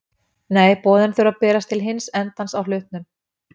Nei, boðin þurfa að berast til hins endans á hlutnum.